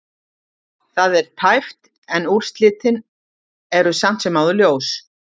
Það er tæpt en úrslitin eru samt sem áður ljós.